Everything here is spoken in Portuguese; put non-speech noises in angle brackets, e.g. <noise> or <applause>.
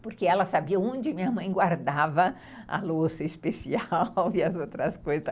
porque ela sabia onde minha mãe guardava a louça especial <laughs> e as outras coisas.